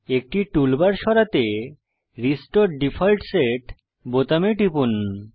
একটি টুলবার সরাতে restore default set বোতামে টিপুন